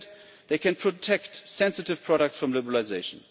Instead, they can protect sensitive products from liberalisation.